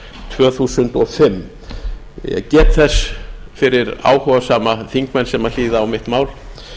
tvö þúsund og fimm ég get þess fyrir áhugasama þingmenn sem hlýða á mitt mál